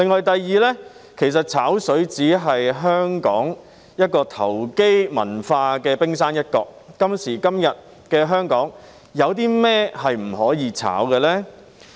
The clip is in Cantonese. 第二，其實"炒水"只是香港投機文化的冰山一角，今時今日的香港，有甚麼不能"炒"呢？